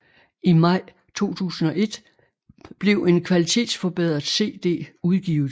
I maj 2001 blev en kvalitetsforbedret cd udgivet